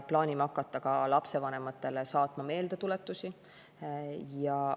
Plaanime ka hakata lapsevanematele meeldetuletusi saatma.